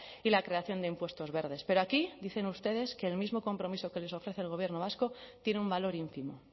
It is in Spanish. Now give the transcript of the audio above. y la creación de impuestos verdes pero aquí dicen ustedes que el mismo compromiso que les ofrece el gobierno vasco tiene un valor ínfimo